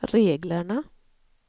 reglerna